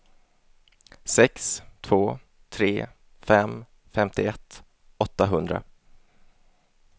sex två tre fem femtioett åttahundra